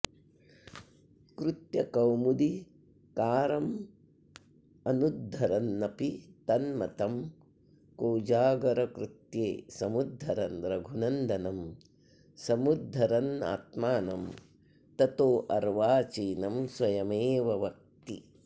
कृत्यकौमुदीकारमनुद्धरन्नपि तन्मतं कोजागरकृत्ये समुद्धरन् रघुनन्दनं समुद्धरन्नात्मानं ततोऽर्वाचीनं स्वयमेव वक्ति